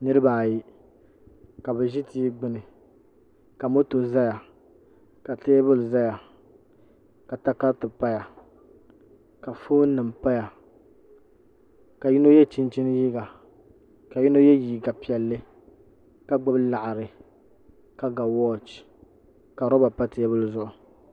niraba ayi ka bi ʒi tia gbuni ka moto ʒi bi tooni ka teebuli ʒɛya ka takariti paya ka foon nim paya ka yino yɛ chinchin liiga ka yino yɛ liiga piɛlli ka gbubi laɣari ka ga wooch ka roba pa teebuli zuɣu